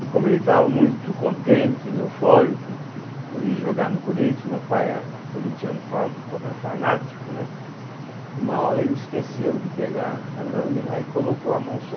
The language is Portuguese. E como ele estava muito contente, eufórico po por ir jogar no Corinthians, meu pai é corinthiano fa fa é fanático, né, uma hora ele esqueceu de pegar a lâmina e colocou a mão só.